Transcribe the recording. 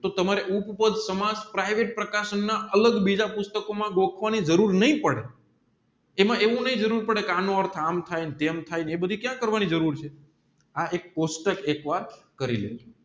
તો તમારે ઉપ પાઢ સમાસ પરિવર્તે પ્રકાશન અલગ બીજા પુષ્ટકોમાં ગોખ વાણીર જરૂર નહિ પડે એમાં એવું નહિ જરૂર પડે એનું અર્થ આમ થાય તેમ થાય પછી ક્યાં કરવાની જરૂર છે આ એક પુષ્ટક એકવાર કરી લેજો